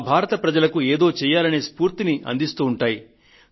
నా భారతదేశ ప్రజలకు ఏదో చేయాలనే స్ఫూర్తిని అందిస్తూ ఉంటాయి